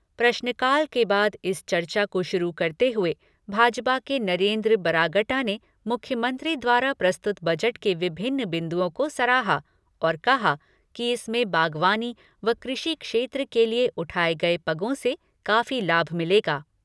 प्रश्नकाल के बाद इस चर्चा को शुरू करते हुए भाजपा के नरेन्द्र बरागटा ने मुख्यमंत्री द्वारा प्रस्तुत बजट के विभिन्न बिन्दुओं को सराहा और कहा कि इसमें बाग़वानी व कृषि क्षेत्र के लिए उठाए गए पगों से काफ़ी लाभ मिलेगा।